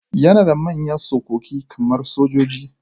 Yana da manyan tsokoki kamar sojoji.